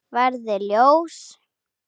Verði ljós.